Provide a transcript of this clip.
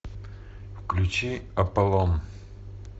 включи аполлон